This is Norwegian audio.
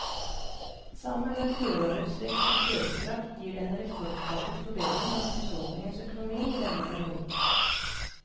Sammen med fjorårets vekst i kjøpekraft gir det en rekordartet forbedring av husholdningenes økonomi i denne perioden.